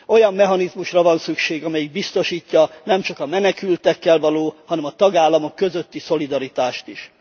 Olyan mechanizmusra van szükség, amelyik biztosítja nemcsak a menekültekkel való, hanem a tagállamok közötti szolidaritást is.